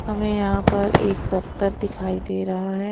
हमें यहां पर एक दफ्तर दिखाई दे रहा है।